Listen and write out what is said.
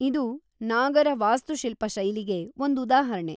ಇದು ನಾಗರ ವಾಸ್ತುಶಿಲ್ಪಶೈಲಿಗೆ ಒಂದ್‌ ಉದಾಹರ್ಣೆ.